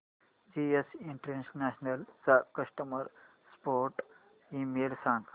GS international चा customer support email सांग